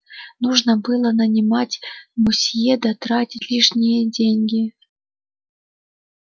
нужно было нанимать мусье да тратить лишние деньги